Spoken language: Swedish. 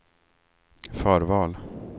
förval